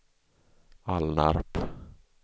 Alnarp